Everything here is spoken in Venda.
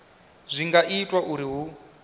zwi nga itwa uri hu